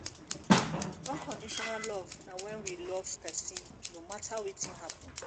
unconditional love na when we love person no matter wetin happen